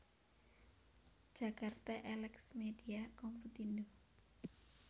Jakarta Elex Media Komputindo